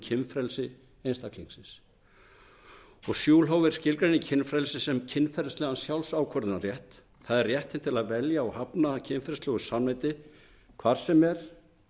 kynfrelsi einstaklingsins schulhofer skilgreinir kynfrelsi sem kynferðislegan sjálfsákvörðunarrétt það er réttinn til að velja og hafna kynferðislegu samneyti hvar sem er